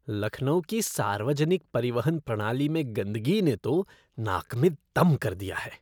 लखनऊ की सार्वजनिक परिवहन प्रणाली में गंदगी ने तो नाक में दम कर दिया है।